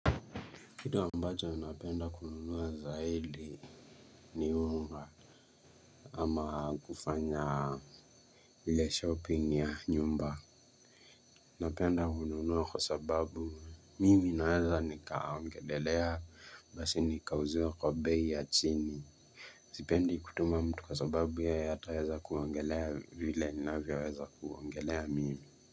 Kitu ambacho napenda kununua zaifi ni unga ama kufanya ile shopping ya nyumba. Nanapenda kununua kwa sababu mimi naweza nikaongelelea basi nikauziwa kwa bei ya chini. Sipendi kutuma mtu kwa sababu yete hataweza kuongelea vile ninavyoweza kuongelea mimi.